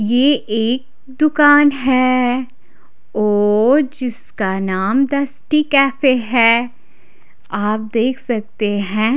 यह एक दुकान है और जिसका नाम डस्टी कैफ़े है आप देख सकते है--